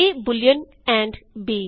A Boolean and b